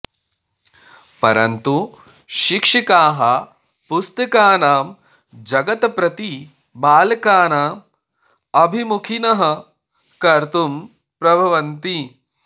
परन्तु शिक्षकाः पुस्तकानां जगत् प्रति बालकान् अभिमुखिनः कर्तुं प्रभवन्ति